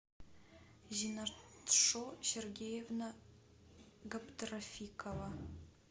зинатшо сергеевна габдрафикова